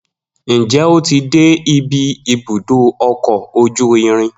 Njẹ o ti dé ibi ibùdó ọkọ ojú irin?